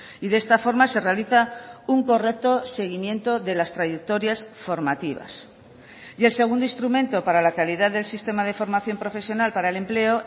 y de esta forma se realiza un correcto seguimiento de las trayectorias formativas y el segundo instrumento para la calidad del sistema de formación profesional para el empleo